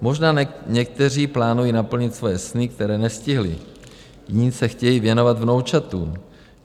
Možná někteří plánují naplnit svoje sny, které nestihli, jiní se chtějí věnovat vnoučatům.